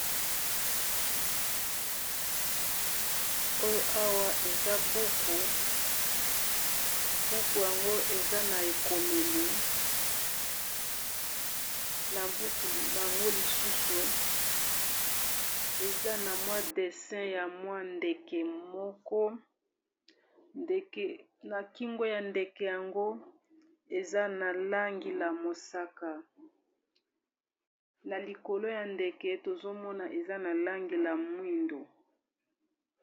oyo awa eza buku .buku yango eza na ekomeli na buku yango lisusu eza na mwa dessin ya mwa ndeke moko na kingo ya ndeke yango eza na langi la mosaka na likolo ya ndeke tozomona eza na langi la mwindo